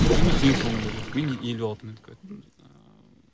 екеуміз ең соңында келдік мен елу алты минутқа өттім ыыы